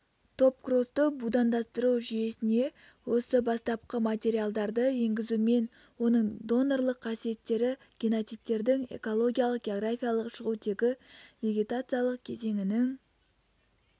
топкросты будандастыру жүйесіне осы бастапқы материалдарды енгізумен оның донорлық қасиеттері генотиптердің экологиялық-географиялық шығу тегі вегетациялық кезеңінің